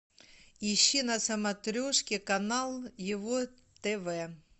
ищи на смотрешке канал его тв